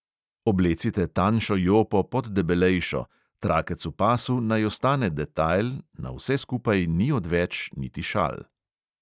Oblecite tanjšo jopo pod debelejšo, trakec v pasu naj ostane detajl, na vse skupaj ni odveč niti šal.